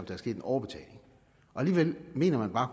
er sket en overbetaling alligevel mener man bare at